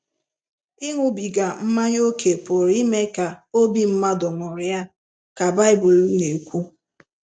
Ịṅụbiga mmanya ókè pụrụ ime ka obi mmadụ ṅụrịa, ka Bible na-ekwu.